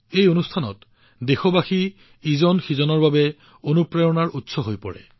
এই কাৰ্যসূচীত প্ৰতিজন দেশবাসী আন দেশবাসীৰ বাবে অনুপ্ৰেৰণা হৈ পৰে